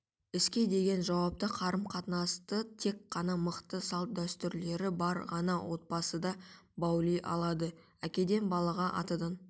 іске деген жауапты қарым-қатынасты тек ғана мықты салт-дәстүрлері бар ғана отбасыда баули алады әкеден балаға атадан